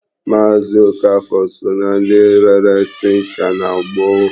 Maazi Okafor so na ndị rere tinka na gboo.